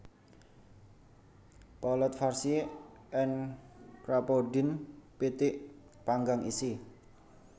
Poulet farcie en Crapaudine pitik panggang isi